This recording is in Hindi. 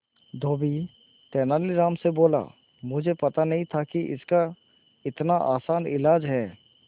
धोबी तेनालीराम से बोला मुझे पता नहीं था कि इसका इतना आसान इलाज है